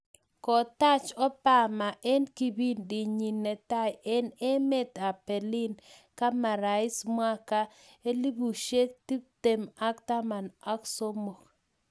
kotach Obama eng kipindit nyi netai ing emet ab Berlin kama rais mwaka 2013.